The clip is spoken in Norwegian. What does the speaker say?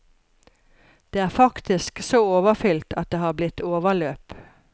Det er faktisk så overfylt at det har blitt overløp.